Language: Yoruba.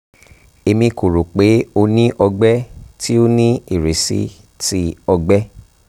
emi ko ro pe o ni ọgbẹ ti o ni irisi ti ọgbẹ